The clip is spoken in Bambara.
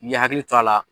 N'i hakili to a la